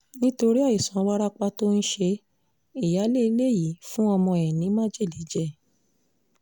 nítorí àìsàn wárápá tó ń ṣe é ìyáálé ilé yìí fún ọmọ ẹ̀ ní májèlé jẹ́